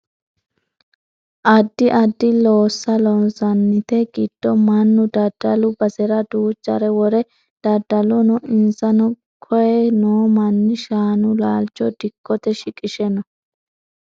addi addi loossa loonsannite giddo mannu daddalu basera duuchare wore daddalanno insano koye noo manni shaanu laalcho dikkote shiqishe no